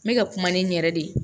N bɛ ka kuma ni n yɛrɛ de ye